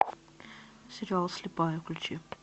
сериал слепая включи